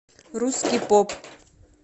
русский поп